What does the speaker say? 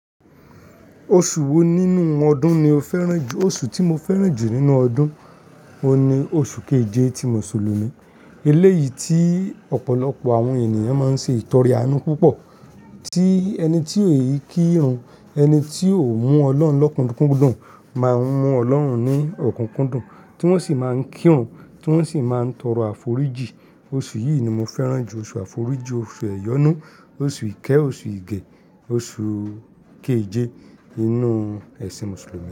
Oṣù wo nínú ọdún ni o fẹ́ràn jù? Oṣù tí mo fẹ́ràn jù nínú ọdún, o ni oṣù keje ti Mùsùlùmí. Eléyìí tí ọ̀pọ̀lọpọ̀ àwọn ènìyàn máa ń ṣe ìtọrẹ àánú púpọ̀. Tí ẹni tí n kírun, ẹni tí ó mú Ọlọ́run lọ́kùnkúndùn máa ń mú Ọlọ́run ní ọ̀kùnkúndùn, tí wọ́n sì máa ń kírun, tí wọ́n sì máa ń tọrọ àforíjì. Oṣù yìí ni mo fẹ́ràn jù, oṣù àforíjì, oṣù ẹ̀yọnú, oṣù ìkẹ́, oṣù ìgẹ̀, oṣù keje inú ẹ̀sìn Mùsùlùmí.